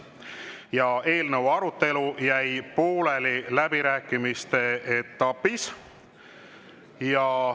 Ja eelnõu arutelu jäi pooleli läbirääkimiste etapis.